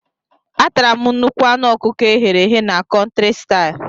Atara m nnukwu anụ ọkụkọ eghere eghe na Country style.